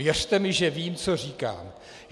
Věřte mi, že vím, co říkám.